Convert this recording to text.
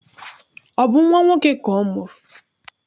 Ọ bụ nnwa nwoke ka ọ mụrụ?